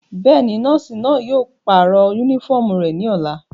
Bẹ́ẹ̀ni, nọọsi náa yóò parọ unifọmú rẹ ni ọla.